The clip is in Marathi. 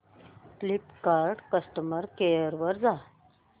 फ्लिपकार्ट कस्टमर केअर वर जा